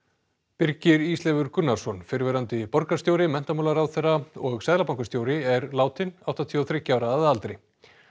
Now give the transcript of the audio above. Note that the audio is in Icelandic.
Birgir Ísleifur Gunnarsson fyrrverandi borgarstjóri menntamálaráðherra og seðlabankastjóri er látinn áttatíu og þriggja ára að aldri